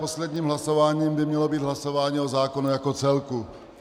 Posledním hlasováním by mělo být hlasování o zákonu jako celku.